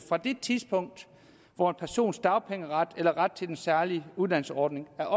fra det tidspunkt hvor en persons dagpengeret eller ret til den særlige uddannelsesordning er